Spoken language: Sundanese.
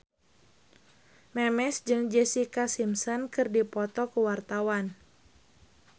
Memes jeung Jessica Simpson keur dipoto ku wartawan